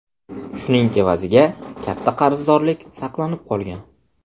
Shuning evaziga katta qarzdorlik saqlanib qolgan”.